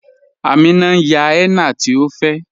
Àmínà ǹ yán henna tí ọ fẹ́